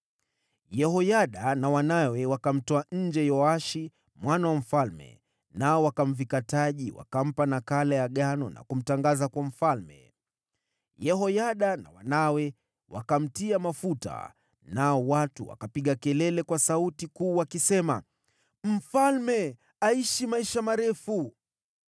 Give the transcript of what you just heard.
Yehoyada na wanawe wakamtoa Yoashi mwana wa mfalme nje na kumvika taji. Wakampa nakala ya agano na kumtangaza kuwa mfalme. Wakamtia mafuta na kupaza sauti, wakisema, “Mfalme aishi maisha marefu!”